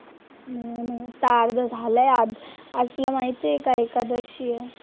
नाही नाही, आत्ता अर्धं झालंय आज तुला माहितीये का एकादशी आहे?